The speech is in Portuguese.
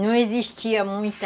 Não existia muita...